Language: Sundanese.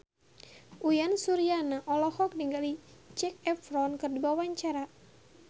Uyan Suryana olohok ningali Zac Efron keur diwawancara